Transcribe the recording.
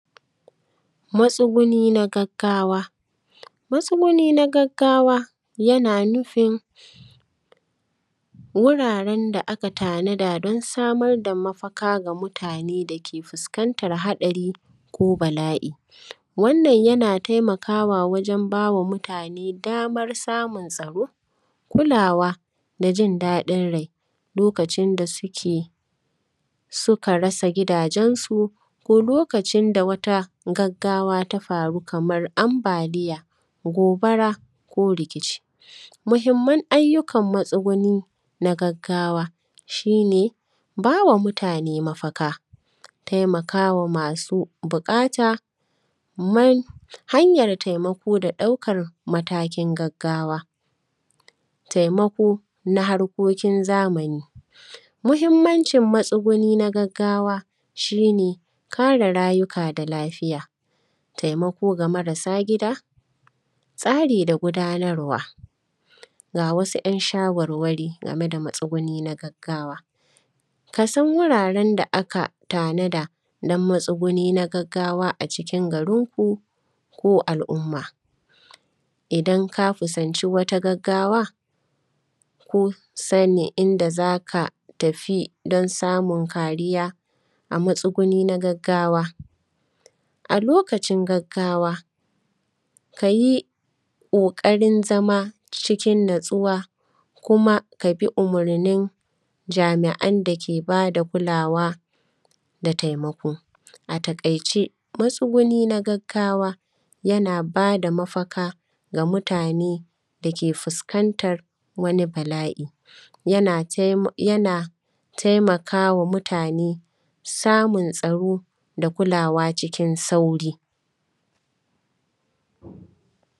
Matsuguni na gaggawa. Matsuguni na gaggawa, yana nufin wuraren da aka tanada don samar da mafaka ga mutane da ke fuskantar haɗari ko bala’i. Wannan, yana taimakawa wajen ba wa mutane damar samun tsaro, kulawa da jin daɗin rai, lokacin da suke; suka rasa gidajensu ko lokacin da wata gaggawa ta faru kamar ambaliya, gobara ko rikici. Muhimman ayyukan matsuguni na gaggawa, shi ne ba wa mutane mafaka, taimaka wa masu buƙata man, hanyar taimako da ɗaukar matakin gaggawa. Taimako na harkokin zamani, muhimmancin matsuguni na gaggawa shi ne kare rayuka da lafiya, taimako ga marasa gida, tsari da gudanarwa. Ga wasu ‘yan shawarwari game da matsuguni na gaggawa, ka san wuwaren da aka tanada don matsuguni na gaggawa a cikin garinku ko al’umma. Idan ka kusanci wata gaggawa ko sanya inda za ka tafi don samun kariya, a matsuguni na gaggawa. A lokacin gaggawa, ka yi ƙoƙarin zama cikin natsuwa kuma ka bi umarnin jami’an da ke ba da kulawa da taimako. A taƙaice, matsuguni na gaggawa, yana ba da mafaka ga mutane da ke fuskantar wani bala’i, yana tai; yana taimaka wa mutane samun tsaro da kulawa cikin sauri.